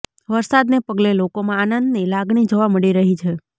વરસાદને પગલે લોકોમાં આનંદની લાગણી જોવા મળી રહી છે